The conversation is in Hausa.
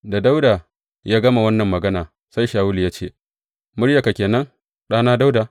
Da Dawuda ya gama wannan magana, sai Shawulu ya ce, Muryarka ke nan ɗana Dawuda?